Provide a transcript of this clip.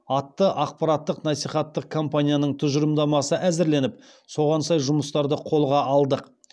атты ақпараттық насихаттық кампанияның тұжырымдамасы әзірленіп соған сай жұмыстарды қолға алдық